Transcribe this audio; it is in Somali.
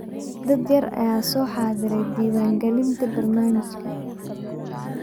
Dad yar ayaa soo xaadiray diiwaangelinta barnaamijka